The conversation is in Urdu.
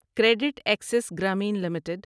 credit access Grameen limited